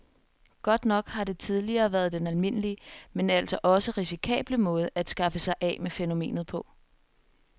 Godt nok har det tidligere været den almindelige, men altså også risikable måde at skaffe sig af med fænomenet på.